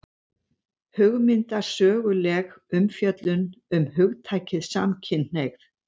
Hugmyndasöguleg umfjöllun um hugtakið samkynhneigð